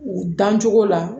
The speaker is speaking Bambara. U dancogo la